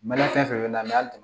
Mali fɛn fɛn bɛ na hali